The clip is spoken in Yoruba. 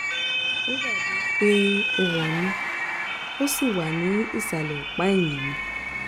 ó dàbí i pé ó wọnú ó sì wà ní ìsàlẹ̀ ọ̀pá ẹ̀yìn mi